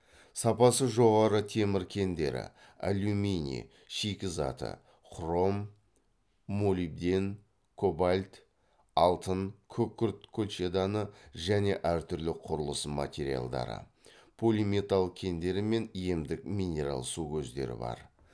сапасы жоғары темір кендері алюминий шикізаты хром молибден кобальт алтын күкірт колчеданы және әртүрлі құрылыс материалдары полиметалл кендері мен емдік минерал су көздері бар